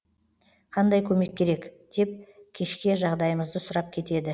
қандай көмек керек деп кешке жағдайымызды сұрап кетеді